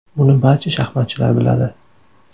Buni barcha shaxmatchilar biladi.